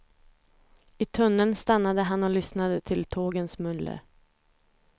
I tunneln stannade han och lyssnade till tågens muller.